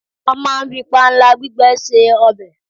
a ma n fi panla gbigbe se obe